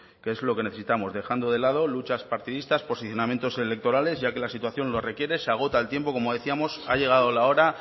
que es lo que necesitamos dejando de lado luchas partidistas posicionamientos electorales ya que la situación lo requiere se agota el tiempo como decíamos ha llegado la hora